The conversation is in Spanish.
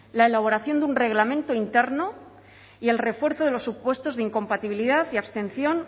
la elaboración de un reglamento interno y el refuerzo de los supuestos de incompatibilidad y abstención